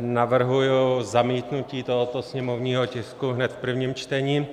navrhuji zamítnutí tohoto sněmovního tisku hned v prvním čtení.